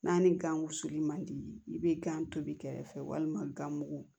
N'a ni gan wusuli man di i bɛ gan tobi kɛrɛ fɛ walima gan mugu